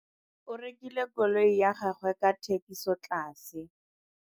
O rekile koloi ya gagwe ka thekisotlase.